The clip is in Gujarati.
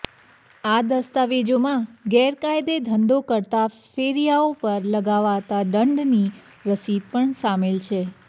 આ દસ્તાવેજોમાં ગેરકાયદે ધંધો કરતા ફેરિયાઓ પર લગાવાતા દંડની રસીદ પણ સામેલ છે